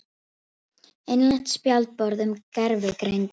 Innlent spjallborð um gervigreind.